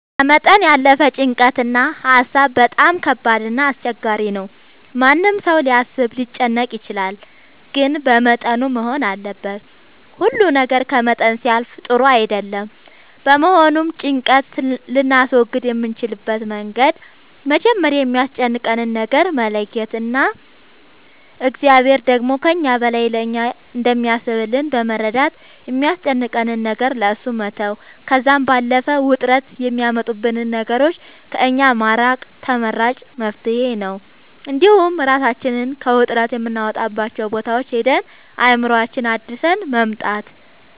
ከመጠን ያለፈ ጭንቀት እና ሀሳብ በጣም ከባድ እና አስቸጋሪ ነው ማንም ሰው ሊያስብ ሊጨነቅ ይችላል ግን በመጠኑ መሆን አለበት ሁሉ ነገር ከመጠን ሲያልፍ ጥሩ አይደለም በመሆኑም ጭንቀት ልናስወግድ የምንችልበት መንገድ መጀመሪያ የሚያስጨንቀንን ነገር መለየት እና እግዚአብሔር ደግሞ ከእኛ በላይ ለእኛ እንደሚያስብልን በመረዳት የሚያስጨንቀንን ነገር ለእሱ መተው ከዛም ባለፈ ውጥረት የሚያመጡብንን ነገሮች ከእኛ ማራቅ ተመራጭ መፍትሄ ነው እንዲሁም እራሳችንን ከውጥረት የምናወጣባቸው ቦታዎች ሄደን አእምሮአችንን አድሰን መምጣት